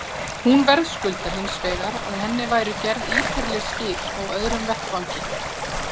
Hún verðskuldar hins vegar að henni væru gerð ítarleg skil á öðrum vettvangi.